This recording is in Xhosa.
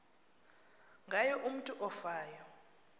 ngayo umutu ofayo